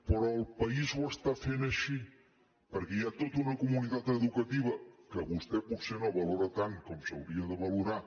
però el país ho fa així perquè hi ha tota una comunitat educativa que vostè potser no valora tant com s’hauria de valorar